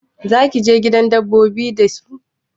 Zaki je gidan dabbobi da su?